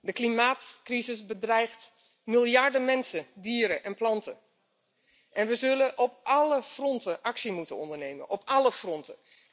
De klimaatcrisis bedreigt miljarden mensen, dieren en planten en we zullen op alle fronten actie moeten ondernemen, op álle fronten.